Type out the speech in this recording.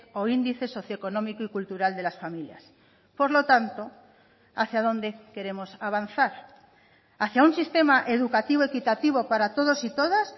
o índice socioeconómico y cultural de las familias por lo tanto hacia dónde queremos avanzar hacia un sistema educativo equitativo para todos y todas